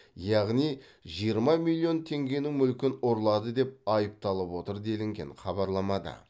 яғни жиырма миллион теңгенің мүлкін ұрлады деп айыпталып отыр делінген хабарламада